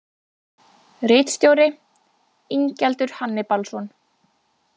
Ritstjóri: Ingjaldur Hannibalsson.